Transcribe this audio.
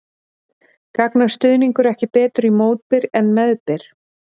Gagnast stuðningur ekki betur í mótbyr en meðbyr?